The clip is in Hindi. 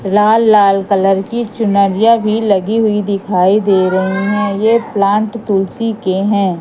लाल-लाल कलर की चुनरिया भी लगी हुई दिखाई दे रहे हैं। ये प्लांट तुलसी के हैं।